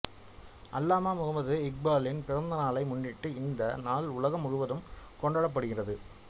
அல்லாமா முகம்மது இக்பாலின் பிறந்தநாளை முன்னிட்டு இந்த நாள் உலகம் முழுவதும் கொண்டாடப்படுகிறது